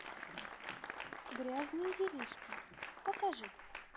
грязные делишки покажи